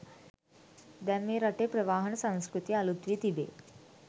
දැන් මේ රටේ ප්‍රවාහන සංස්කෘතිය අලුත් වී තිබේ